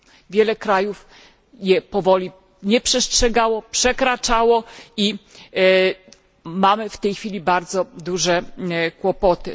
Wiele krajów ich powoli nie przestrzegało, przekraczało je i mamy w tej chwili bardzo duże kłopoty.